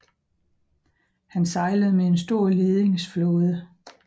Han sejlede med en stor ledingsflåde